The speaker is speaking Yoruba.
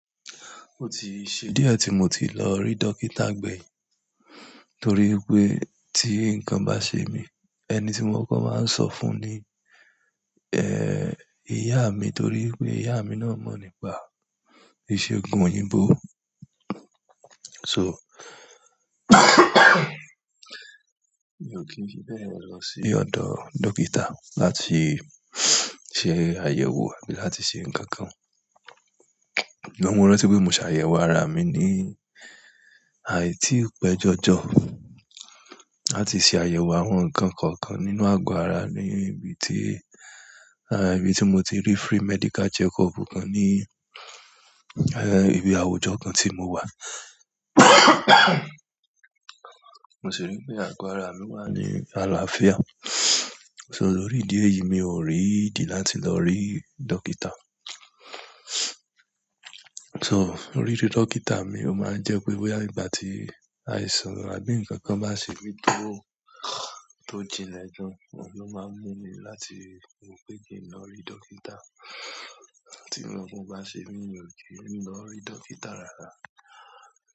O ti ṣe díẹ̀ tí mo ti lọ rí dókítà gbẹ̀yìn torí pé tí nǹkan bá ṣe mi, ẹni tí mo kọ́ko máa ń sọ fún ni, eh, ìyá mi torí pé ìyá mi náà mọ̀ nípa ìṣègùn òyìnbó. So, mi ò kí n fi bẹ́ẹ̀ lọ sí ọ̀dọ̀ dókítà láti ṣe àyẹ̀wò àbí láti ṣe nǹkan kan. Ṣùgbọ́n mo rántí pé mo ṣàyẹ̀wò ara mi ní, àì tií pẹ́ jọjọ, láti ṣe àyẹ̀wò àwọn nǹkan kọ̀ọ̀kan nínú àgọ́ ara mí ibi tí, ah, ibi tí mo ti rí free medical checkup kan ní, ẹ, ibi àwùjọ kan tí mo wà. Mo sì rí pé àgọ́ ara mi wà ní àlàáfíà. So lórí idí eyìí mi ò rí ìdí láti lọ rí dókítà. So orísí dókítà mii ó máa ń jẹ́ pé bóyá ìgbà tí àìsàn àbí ǹkan kan bá ṣe mí tó, tó jinná ejo, ohun ló máa ń mú mi láti wò pé kí n lọ rí dókítà. Ti nkankan o bá ṣe mi ní ò, emi lọ n rí dókítà rárá.